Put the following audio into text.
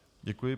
Děkuji.